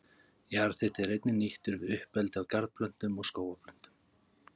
Jarðhiti er einnig nýttur við uppeldi á garðplöntum og skógarplöntum.